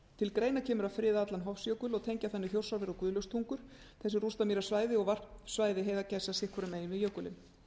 til greina kemur að friða allan hofsjökul og tengja þannig þjórsárver og guðlaugstungur þessi rústamýrasvæði og varpsvæði heiðargæsa sitt hvoru megin við jökulinn